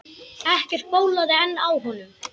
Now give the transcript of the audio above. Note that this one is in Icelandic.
Ekkert bólaði enn á honum.